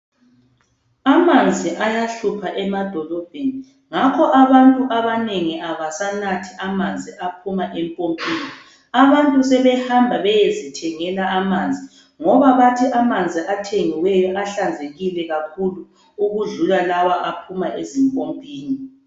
Amanzi ayahlupha emadolobheni. Ngakho abantu abanengi abasanathi amanzi aphuma empompini. Abantu sebehamba beyezithengela amanzi ngoba bathi amanzi athengiweyo ahlanzekile kakhulu, ukudlula lawa aphuma ezimpompini.